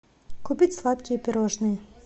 купить сладкие пирожные